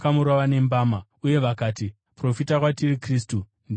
uye vakati, “Profita kwatiri, Kristu. Ndiani akurova?”